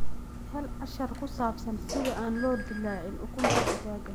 Hel cashar ku saabsan sida aan loo dillaacin ukunta digaagga.